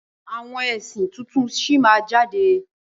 Àwọn ẹ̀sìn tuntun sí máa jáde.